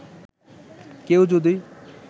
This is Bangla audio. কেউ যদি